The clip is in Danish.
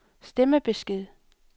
stemmebesked